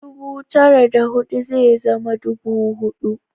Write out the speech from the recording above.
Dubu tare da hudu ze zama ɗubu hudu